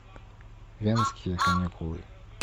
венские каникулы